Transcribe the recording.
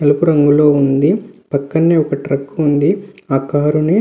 తెలుపు రంగులో వుంది. పక్కనే ఒక ట్రక్ వుంది. ఆ కార్ ని --